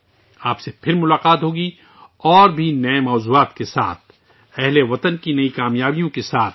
میں آپ سے ایک بار پھر ملوں گا، نت نئے موضوعات کے ساتھ، ہم وطنوں کی نئی کام یابیوں کے ساتھ